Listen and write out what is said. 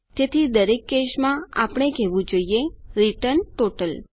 તેથી દરેક કેસ માં આપણે કહેવું જોઇએ રિટર્ન ટોટલ